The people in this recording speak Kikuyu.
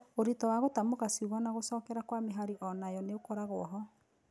ũritũ wa gũtamũka ciugo na gũcokera kwa mĩhari onayo nĩũkoragwo ho